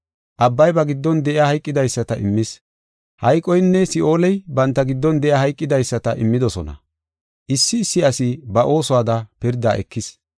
Abbay ba giddon de7iya hayqidaysata immis; hayqoynne Si7ooley banta giddon de7iya hayqidaysata immidosona. Issi issi asi ba oosuwada pirda ekis.